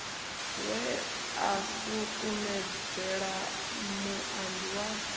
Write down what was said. we a sukumedzela muambi wa